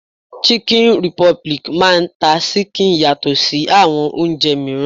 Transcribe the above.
Chicken republic máà ń ta ṣíkìn yàtọ̀ sí àwọn oúnjẹ mìíràn.